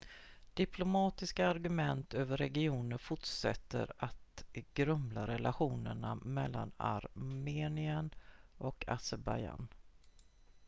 diplomatiska argument över regionen fortsätter att grumla relationerna mellan armenien och azerbajdzjan